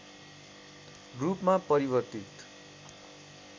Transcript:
रूपमा परिवर्तित